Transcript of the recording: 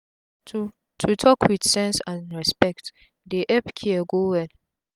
to to talk wit sense and respect dey epp care go well